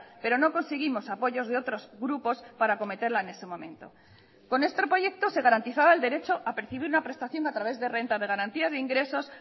pero no conseguimos apoyos de otros grupos para acometerla en ese momento con este proyecto se garantizaba el derecho a percibir una prestación a través de renta de garantía de ingresos